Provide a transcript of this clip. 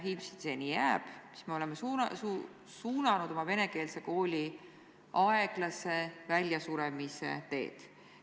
Ilmselt see nii jääb, sest me oleme suunanud oma venekeelse kooli aeglase väljasuremise teed.